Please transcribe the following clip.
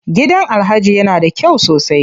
Gidan Alhaji ya na da kyau sosai.